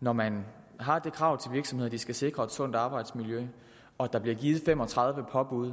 når man har det krav til virksomheder at de skal sikre et sundt arbejdsmiljø og der bliver givet fem og tredive påbud